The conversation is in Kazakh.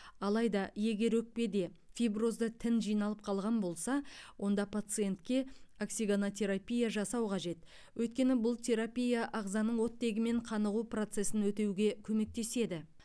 алайда егер өкпеде фиброзды тін жиналып қалған болса онда пациентке оксигенотерапия жасау қажет өйткені бұл терапия ағзаның оттегімен қанығу процесін өтеуге көмектеседі